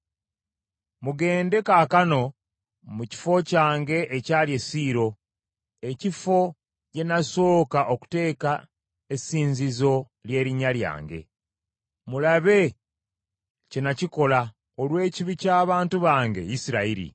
“Mugende kaakano mu kifo kyange ekyali e Siiro ekifo gye nasooka okuteeka essinzizo ly’erinnya lyange, mulabe kye nakikola olw’ekibi ky’abantu bange Isirayiri.